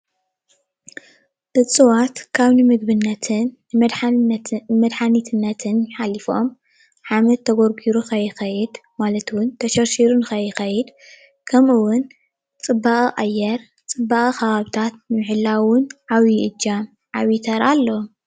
እፅዋት ካብ ንምግብነትን መድሓኒትነትን ሓሊፎም ሓመድ ተጎርጒሩ ከይከድ ማለት እውን ተሸርሺሩ ንከይከይድ ከም እውን ፅባቀ ኣየር ፣ ፅባቀ ከባቢታት ንምሕላው እውን ዓቢይ እጃም ዓቢይ ተራ ኣለዎም።